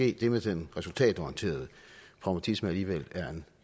at det med den resultatorienterede pragmatisme alligevel er en